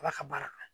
Ala ka baara kɛ